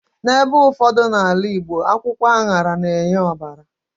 N'ebe ụfọdụ n'ala Igbo, akwụkwọ aṅara na-enye ọbara